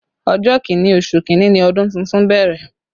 Ọjọ́ Kínní oṣù kinni ni ọdún tuntun bẹ̀rẹ̀